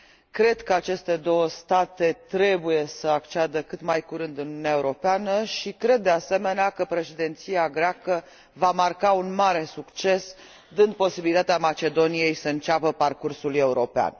Cred că aceste două state trebuie să acceadă cât mai curând în Uniunea Europeană și cred, de asemenea, că Președinția greacă va marca un mare succes, dând posibilitatea Macedoniei să înceapă parcursul european.